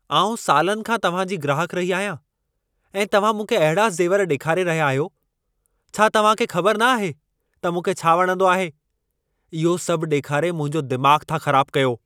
आउं सालनि खां तव्हां जी ग्राहकु रही आहियां ऐं तव्हां मूंखे अहिड़ा ज़ेवर ॾेखारे रहिया आहियो। छा तव्हां खे ख़बर न आहे त मूंखे छा वणंदो आहे? इहो सभ ॾेखारे मुंहिंजो दिमाग़ु था ख़राबु कयो।